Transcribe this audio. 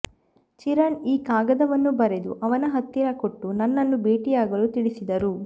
ಚಿರಣ್ ಈ ಕಾಗದವನ್ನು ಬರೆದು ಅವರ ಹತ್ತಿರ ಕೊಟ್ಟು ನನ್ನನ್ನು ಭೇಟಿಯಾಗಲು ತಿಳಿಸಿದರು